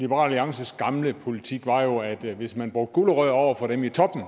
liberal alliances gamle politik var jo at hvis man brugte gulerødder over for dem i toppen